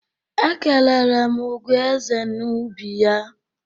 E kelere m Ugoeze n'ubi ya.